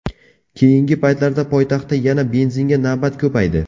Keyingi paytda poytaxtda yana benzinga navbat ko‘paydi.